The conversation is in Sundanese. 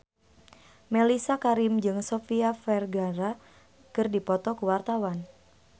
Mellisa Karim jeung Sofia Vergara keur dipoto ku wartawan